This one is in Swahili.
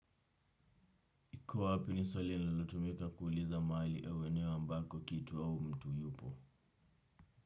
Uko wapi ni swali lilotumika kuuliza mahali au eneo ambako kitu au mtu yupo?